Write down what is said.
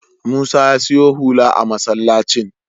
Musa ya siyo hula a masallacin.